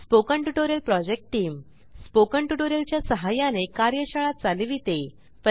spoken tutorial project team spoken tutorial च्या सहाय्याने कार्यशाळा चालविते